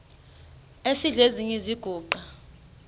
esidl eziny iziguqa